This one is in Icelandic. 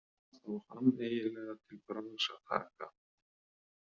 Hvað á hann eiginlega til bragðs að taka?